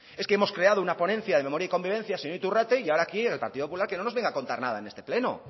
es que hemos creado una ponencia de memoria y convivencia señor iturrate y ahora aquí el partido popular que no nos venga a contar nada en este pleno